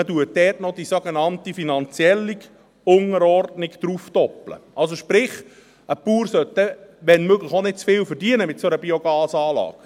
Man legt dort noch die sogenannte finanzielle Unterordnung darauf, sprich: Ein Bauer sollte, wenn möglich auch nicht zu viel verdienen mit einer solchen Biogasanlage.